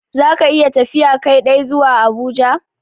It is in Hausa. Za ka iya tafiya Kai dai zuwa Abuja?